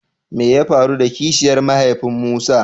Me ya faru da Kishiyar mahaifiyan Musa?